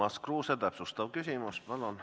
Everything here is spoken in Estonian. Urmas Kruuse, täpsustav küsimus, palun!